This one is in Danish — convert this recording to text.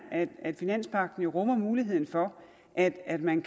at finanspagten jo rummer muligheden for at at man